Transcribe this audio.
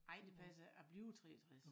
Ej det passer ikke jeg bliver 63